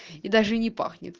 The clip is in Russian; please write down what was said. и даже и не пахнет